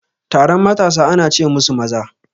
Taron matasa ana ce musu maza